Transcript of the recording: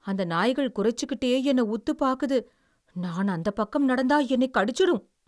அந்த நாய்கள் குறைச்சுக்கிட்டே என்னை உத்துப் பாக்குது. நான் அந்தப் பக்கம் நடந்தா என்னைக் கடிச்சுரும்.